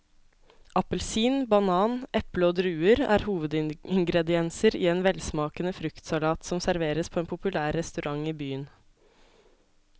Appelsin, banan, eple og druer er hovedingredienser i en velsmakende fruktsalat som serveres på en populær restaurant i byen.